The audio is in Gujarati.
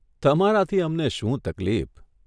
તમારાથી અમને શું તકલીફ?